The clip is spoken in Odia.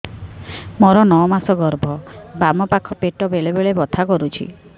ମୋର ନଅ ମାସ ଗର୍ଭ ବାମ ପାଖ ପେଟ ବେଳେ ବେଳେ ବଥା କରୁଛି